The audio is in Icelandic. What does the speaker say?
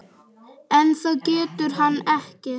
En það getur hann ekki.